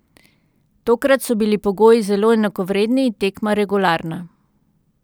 Tokrat so bili pogoji zelo enakovredni in tekma regularna.